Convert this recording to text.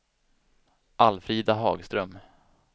Alfrida Hagström